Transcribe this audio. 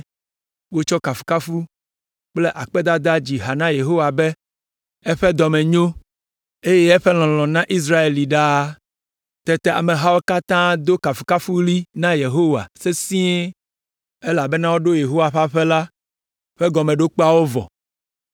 Wotsɔ kafukafu kple akpedada dzi ha na Yehowa be, “Eƒe dɔ me nyo, eye eƒe lɔlɔ̃ na Israel li ɖaa.” Tete amehawo katã do kafukafuɣli na Yehowa sesĩe elabena woɖo Yehowa ƒe aƒe la ƒe gɔmeɖokpeawo vɔ.